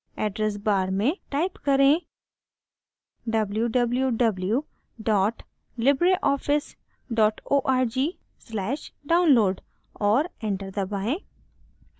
address bar में type करें: www libreoffice org/download और enter दबाएं